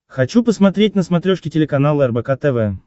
хочу посмотреть на смотрешке телеканал рбк тв